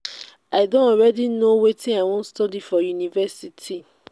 i don already know wetin i wan study for university.